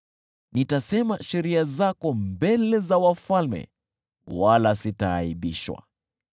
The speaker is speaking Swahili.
Nitasema sheria zako mbele za wafalme wala sitaaibishwa,